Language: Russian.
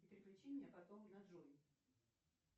переключи меня потом на джой